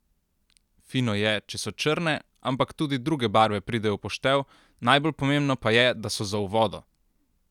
Fino je, če so črne, ampak tudi druge barve pridejo v poštev, najbolj pomembno pa je, da so za v vodo!